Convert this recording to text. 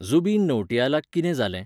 जुबिन नौटीयालाक कितें जालें?